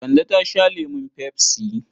Kande ta sha lemun pepsi.